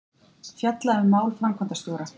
Fjalla um mál framkvæmdastjóra